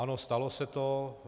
Ano, stalo se to.